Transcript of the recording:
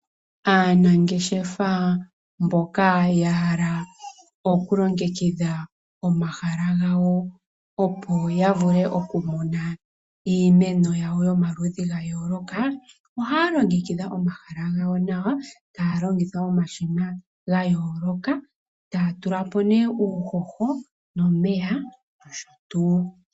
Aanangeshefa mboka yahala okulongekidha omahala gawo opo yavule okumuna iimeno yawo yomaludhi gayooloka, ohaya longekidha omahala gawo nawa, taya longitha omashina gayooloka, taya tulamo ne uuhoho, nomeya nosho tu.